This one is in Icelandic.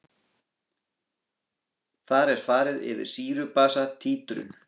Þar er farið yfir sýru-basa títrun.